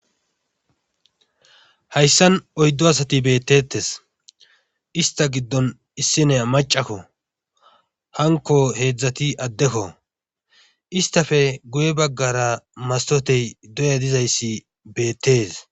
Hayssan oyddu asati beetetees. ista giddon issiniya maccakko hankko heedzdzati addekko isttappe guye bagara mastote dooya dizayssi beetees.